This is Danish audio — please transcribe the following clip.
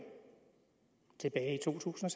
tilbage i to tusind